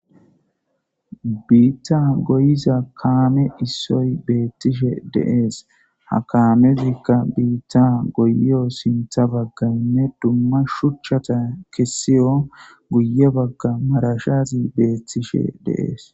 Biitta goyiza kaame issoy beettishe deees. Ha kaamezikka biitta goyo sintha baggaynne dumma shuchchata kessiyo guye bagga marashazi beettishe deees.